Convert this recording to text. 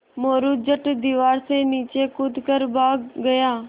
मोरू झट दीवार से नीचे कूद कर भाग गया